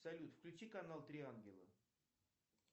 салют включи канал три ангела